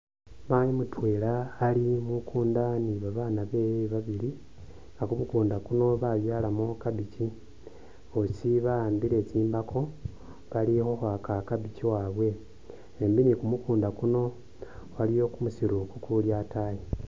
Maayi mutweela ali mukunda ni babaana beewe babili, nga kumukunda kuno babyalamo cabbage, bosi bawambile tsimbaako bali u’khwaaka cabbage waabwe , embi ni’kumukunda kuno waliwo kumusiru kukuuli ataayi .